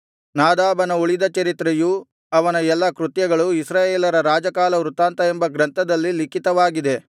ನಾದಾಬನ ಉಳಿದ ಚರಿತ್ರೆಯೂ ಅವನ ಎಲ್ಲಾ ಕೃತ್ಯಗಳೂ ಇಸ್ರಾಯೇಲರ ರಾಜಕಾಲವೃತ್ತಾಂತ ಎಂಬ ಗ್ರಂಥದಲ್ಲಿ ಲಿಖಿತವಾಗಿದೆ